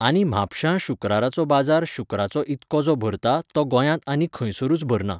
आनी म्हापश्यां शुक्राराचो बाजार शुक्राचो इतको जो भरता तो गोंयांतआनी खंयसरूच भरना.